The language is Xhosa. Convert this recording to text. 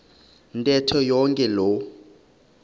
ntetho yonke loo